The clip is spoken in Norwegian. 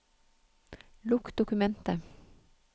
Lukk dokumentet